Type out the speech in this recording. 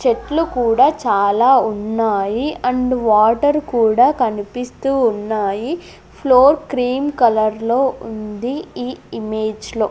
చెట్లు కూడా చాలా ఉన్నాయి అండ్ వాటర్ కూడా కనిపిస్తూ ఉన్నాయి ఫ్లోర్ క్రీమ్ కలర్లో ఉంది ఈ ఇమేజ్ లో .